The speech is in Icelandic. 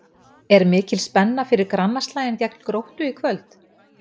Er mikil spenna fyrir grannaslaginn gegn Gróttu í kvöld?